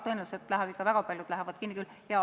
Tõenäoliselt lähevad ikka, väga paljud lähevad kinni küll.